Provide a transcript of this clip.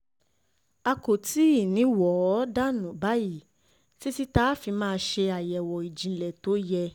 a kò tí ì ní í wò ó dànù báyìí títí tá a fi máa ṣe àyẹ̀wò ìjìnlẹ̀ tó yẹ